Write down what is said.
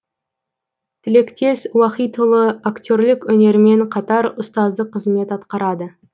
тілектес уахитұлы актерлік өнермен қатар ұстаздық қызмет атқарады